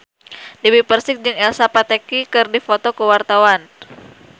Dewi Persik jeung Elsa Pataky keur dipoto ku wartawan